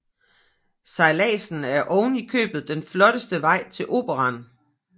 Sejladsen er oven i købet den flotteste vej til Operaen